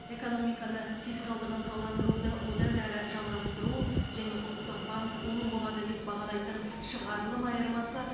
экономиканы фискалдық ынталандыруды одан әрі жалғастыру және ұлттық банк оң болады деп бағалайтын шығарылым айырмасы